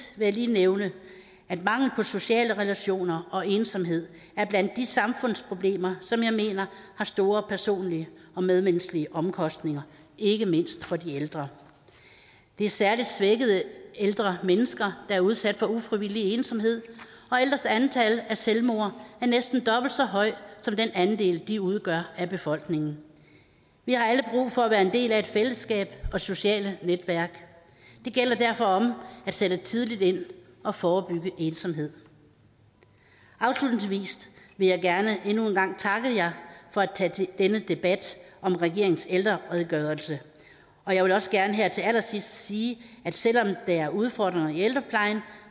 vil jeg lige nævne at mangel på sociale relationer og ensomhed er blandt de samfundsproblemer som jeg mener har store personlige og medmenneskelige omkostninger ikke mindst for de ældre det er særlig svækkede ældre mennesker der er udsat for ufrivillig ensomhed og ældres antal af selvmord er næsten dobbelt så højt som den andel de udgør af befolkningen vi har alle brug for at være en del af et fællesskab og sociale netværk det gælder derfor om at sætte tidligt ind og forebygge ensomhed afslutningsvis vil jeg gerne endnu en gang takke jer for at tage denne debat om regeringens ældreredegørelse og jeg vil også gerne her til allersidst sige at selv om der er udfordringer i ældreplejen